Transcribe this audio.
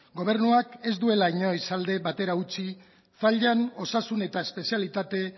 gobernuak ez duela inoiz alde batera utzi zallan osasun eta espezialitate